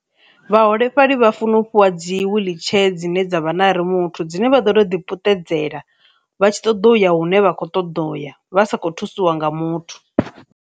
Vhaholefhali vha funa u fhiwa dzi wheelchair dzine dza vha na rimouthu dzine vha ḓo ḓi puṱedzela vha tshi ṱoḓa uya hune vha kho ṱoḓa uya vha sa kho thusiwa nga muthu.